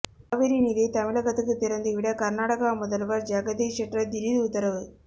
காவிரி நீரை தமிழகத்துக்கு திறந்துவிட கர்நாடகா முதல்வர் ஜெகதீஷ் ஷெட்டர் திடீர் உத்தரவு